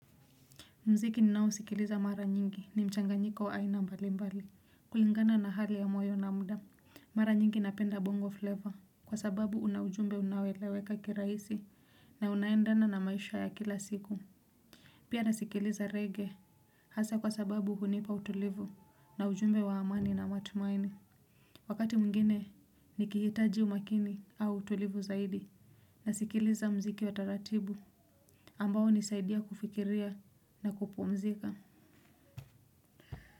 Mziki ni nao usikiliza mara nyingi ni mchanganyika wa aina mbali mbali. Kulingana na hali ya moyo na mda mara nyingi napenda bongo flavour kwa sababu una ujumbe unao eleweka kirahisi na unaendana na maisha ya kila siku. Pia nasikiliza reggae. Hasa kwa sababu hunipa utulivu na ujumbe wa amani na matumaini. Wakati mwingine nikihitaji umakini au utulivu zaidi nasikiliza mziki wa taratibu ambao unisaidia kufikiria na kupumzika.